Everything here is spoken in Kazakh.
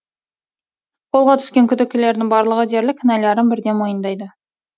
қолға түскен күдіктілердің барлығы дерлік кінәларын бірден мойындайды